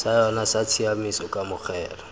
sa yona sa tshiamiso kamogelo